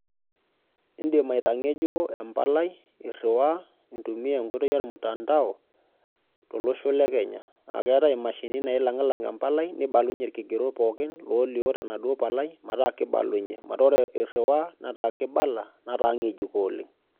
Indim aitangejuko enkardasi iriwaa intumia enkoitoi ormutandao tolosho lekenya nelang embalai nibalunye irkigerot pookin nibalunye metaa kibalunye metaa ore iriwaa nataa ngejuko oleng.